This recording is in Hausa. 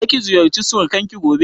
Za ki ziyarci surukan ki gobe?